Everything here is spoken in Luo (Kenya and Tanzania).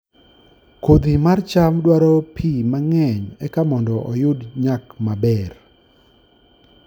Kodhi mar cham dwaro pi mang'eny eka mondo oyud nyak maber